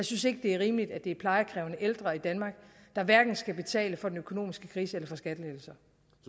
synes det er rimeligt at det er plejekrævende ældre i danmark der skal betale for den økonomiske krise eller for skattelettelser